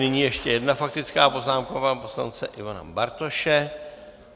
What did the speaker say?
Nyní ještě jedna faktická poznámka pana poslance Ivana Bartoše.